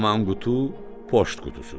Haman qutu poçt qutusudur.